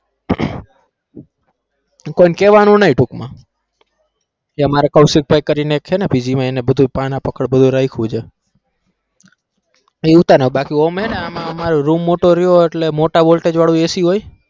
તો કોઈ ને કેવાનું નઈ ટૂંકમાં કે મારે અહીંયા કૌશિકભાઈ કરીને એક છે ને PG માં એને બધું પાના પકડ બધું રાયખું છે. બાકી આમ છે ને આમાં room મોટો રયો એટલે મોટા voltage વાળું AC હોય.